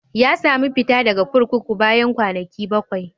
Ya sami fita daga kurkuku bayan kwanaki bakwai.